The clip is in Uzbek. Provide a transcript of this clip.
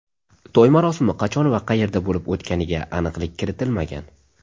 To‘y marosimi qachon va qayerda bo‘lib o‘tganiga aniqlik kiritilmagan.